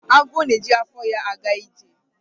Agwọ na-eji afọ ya aga ije.